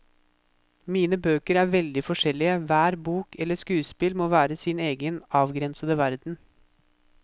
Mine bøker er veldig forskjellige, hver bok, eller skuespill, må være sin egen, avgrensede verden.